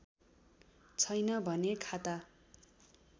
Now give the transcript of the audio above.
छैन भने खाता